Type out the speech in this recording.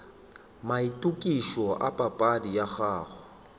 maitokišo a papadi ya gago